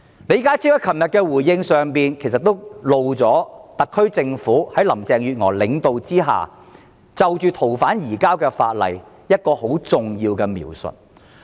李家超昨天的回應其實揭露了特區政府在林鄭月娥的領導下對《條例草案》的一項重要描述。